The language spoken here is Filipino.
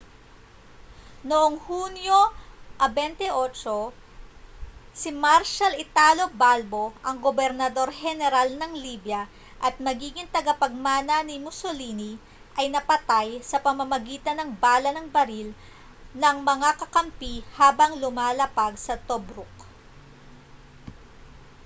noong hunyo 28 si marshal italo balbo ang gobernador-heneral ng libya at magiging tagapagmana ni mussolini ay napatay sa pamamagitan ng bala ng baril ng mga kakampi habang lumalapag sa tobruk